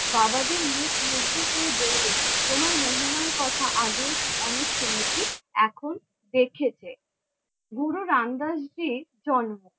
বাবাজী মুখ মুগ্ধ হয়ে বললেন, তোমার মহিমার কথা আগেও অনেক শুনেছি, এখন দেখেছে। গুরু রামদাস জির জন্ম